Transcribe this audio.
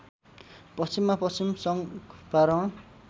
पश्चिममा पश्चिम चङ्पारण